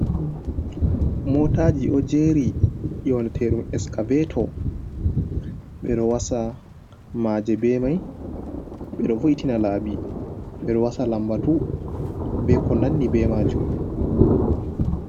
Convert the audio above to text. mootaaji ɗo jeri nyooneteɗum eskaveto, ɓe ɗo wasa maaje be mai, ɓe ɗo vo'itina laabi, ɓe ɗo wasa lambatu, be ko nandi be maajum.